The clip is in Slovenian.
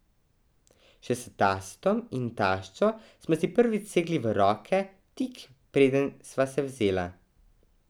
Še s tastom in taščo smo si prvič segli v roke tik, preden sva se vzela.